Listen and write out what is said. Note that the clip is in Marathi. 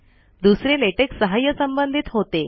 दुसरे लेटेक सहाय संबंधित होते